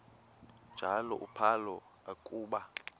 njalo uphalo akuba